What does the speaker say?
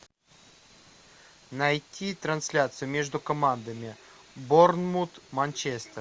найти трансляцию между командами борнмут манчестер